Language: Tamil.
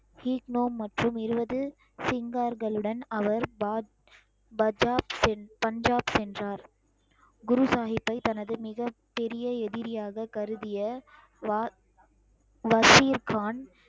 கீட்னோ மற்றும் இருபது சிங்கார்களுடன் அவர் பாஜ்~ பஜாஜ் சென்~ பஞ்சாப் சென்றார் குரு சாஹிப்பை தனது மிகப் பெரிய எதிரியாகக் கருதிய வ~ வசீர்கான்